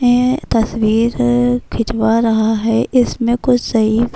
یہ تشویر کھچوا رہا ہے۔ اسمے کچھ سہی--